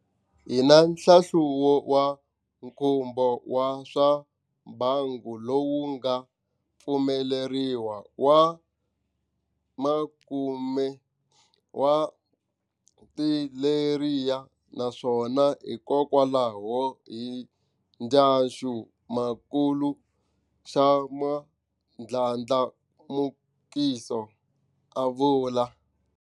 Hi na nhlahluvo wa nkhumbo wa swa mbangu lowu nga pfumeleriwa wa makume wa tileyara naswona hikokwalaho hi ndlaxu makulu xa ndlandlamukiso, a vula.